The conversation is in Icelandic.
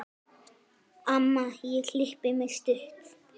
Amma ég klippi mig stutt.